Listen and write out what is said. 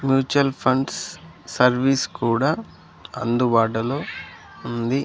Mutual funds service కూడా అందుబాటులో ఉంది.